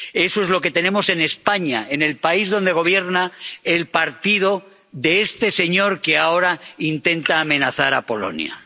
Eso es lo que tenemos en España, en el país donde gobierna el partido de este señor que ahora intenta amenazar a Polonia.